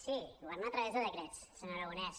sí governar a través de decrets senyor aragonès